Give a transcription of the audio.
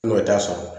N'o t'a sɔrɔ